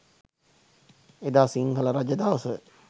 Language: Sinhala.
එදා සිංහල රජදවස